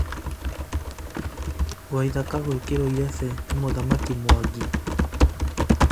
waithaka gwĩkĩrwo irebe ni mũthamaki mwangi,